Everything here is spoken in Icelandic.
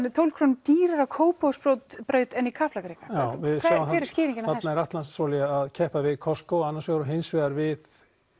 er tólf krónum dýrari á Kópavogsbraut en í Kaplakrika hver er skýringin þarna er Atlantsolía að keppa við Costco annars vegar og hins vegar við